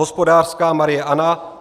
Hospodářská Marie Anna